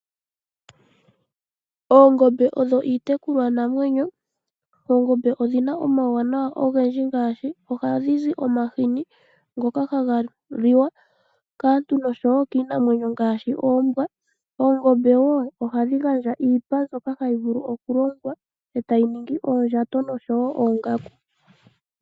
Oongombe odho iitekulwa namwenyo, oongombe odhina omawanawa ogendji ngaashi oha dhizi omahini ngoka haga liwa kaantu nosho wo kiinamwenyo ngaashi oombwa. Oongombe wo ohadhi gandja iipa mbyoka hayi vulu okulongwa etayi ningi oondjato nosho wo oongaku.